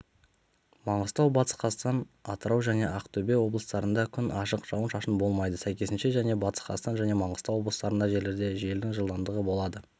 маңғыстау батыс қазақстан атыраужәне ақтөбе облыстарында күн ашық жауын-шашын болмайды сәйкесінше және батыс қазақстан және маңғыстау облыстарындакей жерлерде желдің жылдамдығы болады